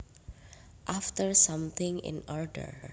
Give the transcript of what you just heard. After something in order